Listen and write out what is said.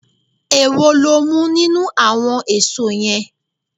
Èwo lo mú nínú àwon èso yen?